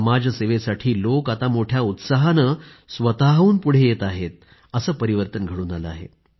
समाजसेवेसाठी लोक आता मोठ्या उत्साहानं स्वतःहून पुढं येत आहेत असे परिवर्तन घडून आलं आहे